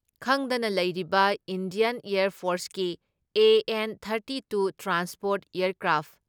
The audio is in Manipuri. ꯈꯪꯗꯅ ꯂꯩꯔꯤꯕ ꯏꯟꯗꯤꯌꯥꯟ ꯑꯦꯌꯥꯔ ꯐꯣꯔꯁꯀꯤ ꯑꯦ.ꯑꯦꯟ. Thirty two transport aircraft